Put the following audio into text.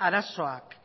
arazoak